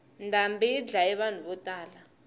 ndhambi yi dlaye vanhu vo tala